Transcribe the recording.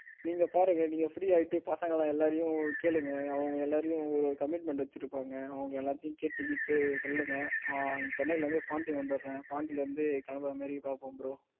நீங்க பாருங்க நீங்க free ஆயிட்டு பசங்க எல்லாரையும் கேளுங்க அவங்க எல்லாரையும் ஒரு commitment வச்சிருப்பாங்க. அவங்க எல்லாத்தையும் கேட்டுக்கிட்டு சொல்லுங்க நான் சென்னையில் இருந்து பாண்டி வந்துறேன். பாண்டியிலிருந்து கிளம்பற மாதிரி பார்ப்போம் bro